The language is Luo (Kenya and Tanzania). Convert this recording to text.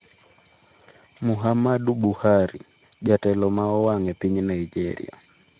Muhammadu Buhari, jatelo ma owang' e piny Naijeria